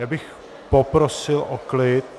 Já bych poprosil o klid!